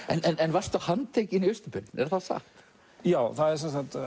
en varstu handtekinn í Austur Berlín er það satt já það er